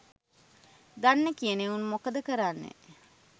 දන්න කියන එවුන් මොකද කරන්නේ